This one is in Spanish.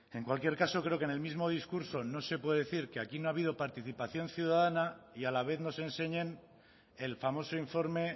en cualquier caso creo que en el mismo discurso no se puede decir que aquí no ha habido participación ciudadana y a la vez nos enseñen el famoso informe